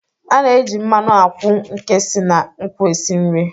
A na-eji mmanụ akwụ nke si na nkwụ esi nri.